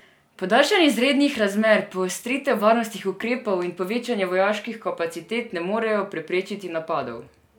Podaljšanje izrednih razmer, poostritev varnostnih ukrepov in povečanje vojaških kapacitet ne morejo preprečiti napadov.